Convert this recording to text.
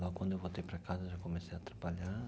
Quando eu voltei para casa, já comecei a trabalhar.